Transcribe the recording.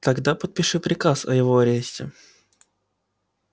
тогда подпиши приказ о его аресте